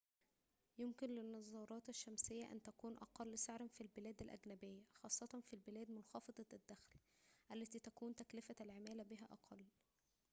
يمكن للنظارات الشمسية أن تكون أقل سعراً في البلاد الأجنبية خاصة في البلاد منخفضة الدخل التي تكون تكلفة العمالة بها أقل